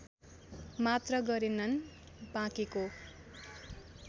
मात्र गरेनन् बाँकेको